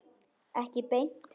Ekki beint.